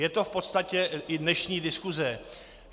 Je to v podstatě i dnešní diskuse.